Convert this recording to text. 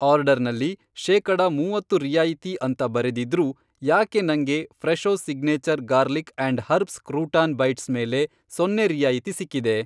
ಆರ್ಡರ್ನಲ್ಲಿ ಶೇಕಡ ಮೂವತ್ತು ರಿಯಾಯಿತಿ ಅಂತ ಬರೆದಿದ್ರೂ ಯಾಕೆ ನಂಗೆ Fresho signature garlic and herbs crouton bites ಮೇಲೆ ಸೊನ್ನೆ ರಿಯಾಯಿತಿ ಸಿಕ್ಕಿದೆ?